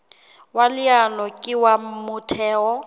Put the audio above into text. wa leano ke wa motheo